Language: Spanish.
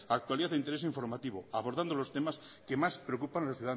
actualidad e interés informativo abordando los problemas que más preocupan a los